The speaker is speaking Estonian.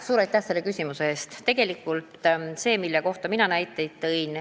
Suur aitäh selle küsimuse eest!